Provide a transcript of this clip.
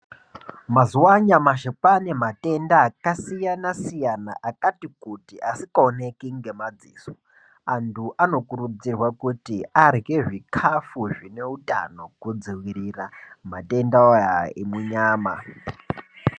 Mazuwa anyamashi kwanematenda akasiyana-siyana akati kuti asingawoneki ngemadziso, antu anokurudzirwa kuti arye zvikafu zvineutano kudzivirira matenda ayo ari munyama.